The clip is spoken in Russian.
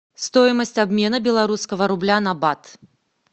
стоимость обмена белорусского рубля на бат